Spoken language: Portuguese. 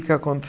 O que